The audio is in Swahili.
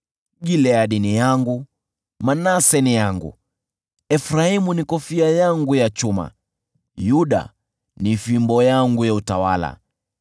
Gileadi ni yangu, Manase ni yangu, Efraimu ni kofia yangu ya chuma, nayo Yuda ni fimbo yangu ya utawala.